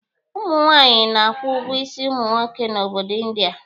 Ụmụ nwaanyị na-akwụ ụgwọ isi ụmụ nwoke n'obodo India.